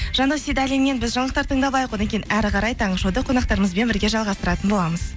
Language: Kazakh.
жандос сейдалиннен біз жаңалықтар тыңдап алайық одан кейін әрі қарай таңғы шоуды қонақтарымызбен бірге жалғастыратын боламыз